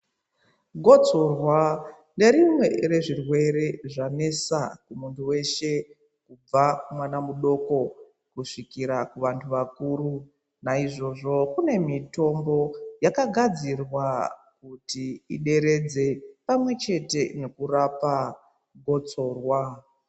Gotsorwa nerimwe rezvirwere zvanesa muntu weshe kubva kumwana mudoko kusvikira kuvantu vakura naizvozvo kune mitombo yakagadzirwa kuti ideredze pamwechete nekurapa gotsorwa.